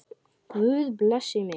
Guð blessi mig.